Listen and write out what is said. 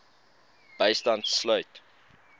bystand sluit